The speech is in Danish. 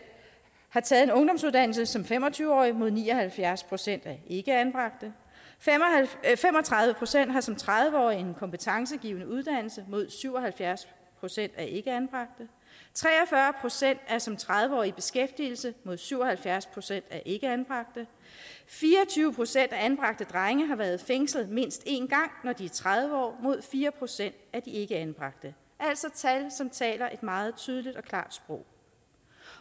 har taget en ungdomsuddannelse som fem og tyve årige mod ni og halvfjerds procent af ikkeanbragte fem og tredive procent har som tredive årige en kompetencegivende uddannelse mod syv og halvfjerds procent af de ikkeanbragte tre og fyrre procent er som tredive årige i beskæftigelse mod syv og halvfjerds procent af de ikkeanbragte fire og tyve procent af anbragte drenge har været fængslet mindst en gang når de er tredive år mod fire procent af de ikkeanbragte det altså tal som taler et meget tydeligt og klart sprog